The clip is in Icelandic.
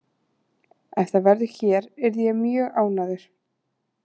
Ef það verður hér yrði ég mjög ánægður.